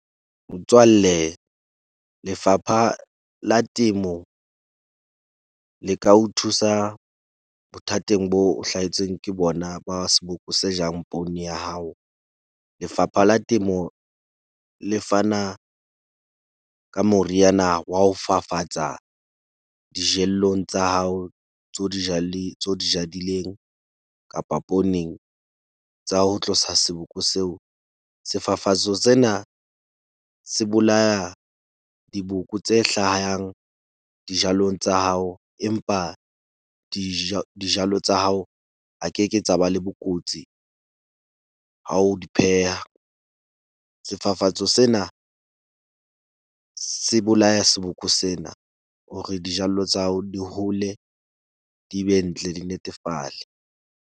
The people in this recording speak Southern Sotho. Motswalle Lefapha la Temo le ka ho thusa bothateng bo hlahetsweng ke bona ba seboko se jang poone ya hao. Lefapha la Temo le fana ka moriana wa ho fafatsa dijellong tsa hao tseo di tseo o di jadileng, kapa pooneng tsa ho tlosa seboko seo. Sefafatso sena se bolaya diboko tse hlayang dijalong tsa hao, empa , dijalo tsa hao, ha keke tsa ba le bokotsi ha o di pheha. Sefafatso sena se bolaya seboko sena hore dijallo tsa hao di hole, di be ntle, di netefale.